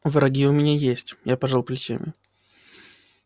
враги у меня есть я пожал плечами